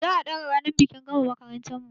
Za a ɗaga ranar bikin gama makarantar mu